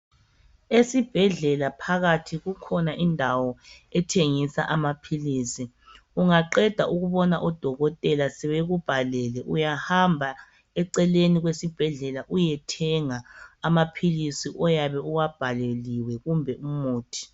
Esibhedlela phakathi kukhona indawo ethengisa amaphilizi, ungaqeda ukubona udokotela sebekubhalele uyahamba eceleni kwesibhedlela uyethenga amaphilizi oyabe uwabhaleliwe kumbe umuthi.